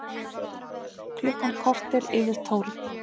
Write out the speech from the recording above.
Klukkan korter yfir tólf